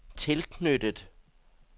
tilknyttet